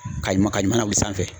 Ka ɲuman ka ɲuman lawuli sanfɛ.